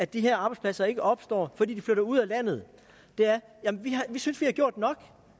de her arbejdspladser ikke opstår fordi de flytter ud af landet er at vi synes vi har gjort nok